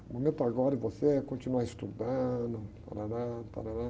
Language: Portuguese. O momento agora de você é continuar estudando. Tárárá, tárárá...